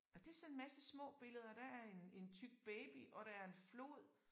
Nåh det sådan en masse små billeder der er en en tyk baby og der er en flod